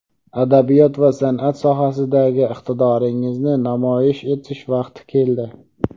adabiyot va sanʼat sohasidagi iqtidoringizni namoyish etish vaqti keldi.